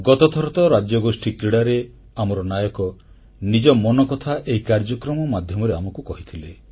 ଗତଥର ତ ରାଜ୍ୟଗୋଷ୍ଠୀ କ୍ରୀଡ଼ାରେ ଆମର ନାୟକ ନିଜ ମନକଥା ଏହି କାର୍ଯ୍ୟକ୍ରମ ମାଧ୍ୟମରେ ଆମକୁ କହିଥିଲେ